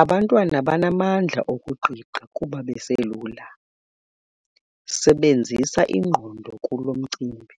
Abantwana banamandla okuqiqa kuba baselula. sebenzisa ingqondo kulo mcimbi,